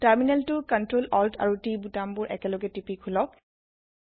টাৰমিনেলটো Ctrl Alt আৰো T বুটাম বোৰ একেলগে টিপি খুলক